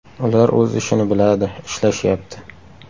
Ular o‘z ishini biladi, ishlashyapti.